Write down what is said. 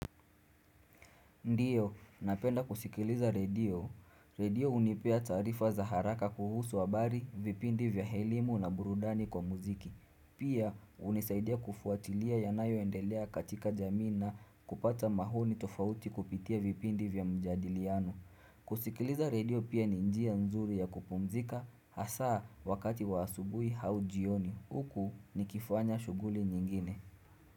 Ndiyo, napenda kusikiliza radio. Radio unipea tarifa za haraka kuhusu habari, vipindi vya helimu na burudani kwa muziki. Pia, unisaidia kufuatilia ya nayo endelea katika jamii na kupata mahoni tofauti kupitia vipindi vya mjadiliano. Kusikiliza radio pia ni njia nzuri ya kupumzika hasaa wakati wa asubui haujioni. Huku ni kifanya shuguli nyingine.